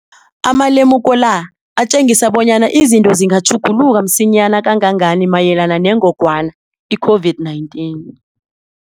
Amalemuko la atjengisa bonyana izinto zingatjhuguluka msinyana kangangani mayelana nengogwana i-COVID-19.